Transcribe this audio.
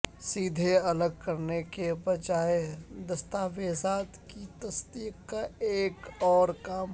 سیدھے الگ کرنے کے بجائے دستاویزات کی تصدیق کا ایک اور کام